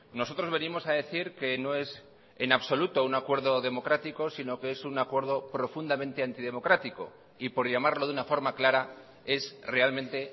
nosotros venimos a decir que no es en absoluto un acuerdo democrático sino que es un acuerdo profundamente antidemocrático y por llamarlo de una forma clara es realmente